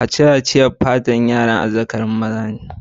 Kaciya cire'n pata'n gaba ne na azzakari a yaran maza ne.